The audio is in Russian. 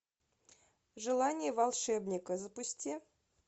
желание волшебника запусти